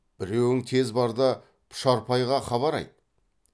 біреуің тез бар да пұшарпайға хабар айт